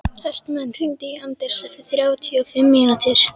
Hartmann, hringdu í Anders eftir þrjátíu og fimm mínútur.